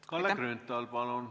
Kalle Grünthal, palun!